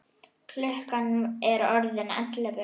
Klukkan er orðin ellefu!